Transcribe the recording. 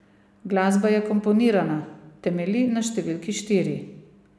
Glasba je komponirana, temelji na številki štiri.